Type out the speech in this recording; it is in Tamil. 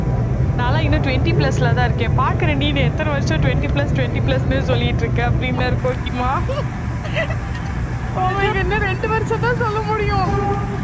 நான் எல்லாம் இன்னும் twenty plus லதான் இருக்கேன் பார்க்கிற நீ எத்தனை வருஷம் twenty plus twenty plus ன்னே சொல்லிட்டு இருக்க அப்படின்னாரு கோக்கிமா அவங்களுக்கு இன்னும் ரெண்டு வருஷம்தான் சொல்ல முடியும்